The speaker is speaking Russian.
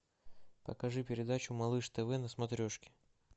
покажи передачу малыш тв на смотрешке